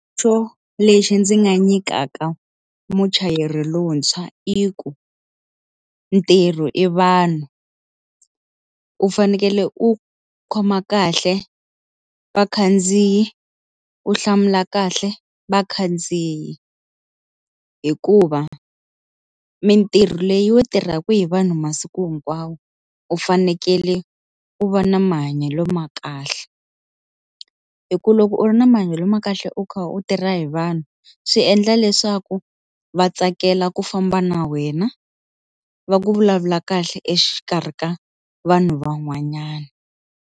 So lexi ndzi nga nyikaka muchayeri lontshwa i ku, ntirho i vanhu u fanekele u khoma kahle vakhandziyi u hlamula kahle vakhandziyi hikuva mitirho leyi yi tirhaka hi vanhu masiku hinkwawo u fanekele u va na mahanyelo ma kahle hi ku loko u ri na ma mahanyelo ma kahle u kha u tirha hi vanhu swi endla leswaku va tsakela ku famba na wena va ku vulavula kahle exikarhi ka vanhu van'wanyana.